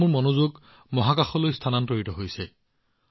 এতিয়া মোৰ মনোযোগ মহাকাশৰ ফালে গৈ আছে